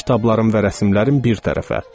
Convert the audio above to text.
Bütün kitablarım və rəssamların bir tərəfə.